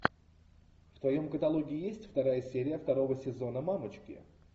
в твоем каталоге есть вторая серия второго сезона мамочки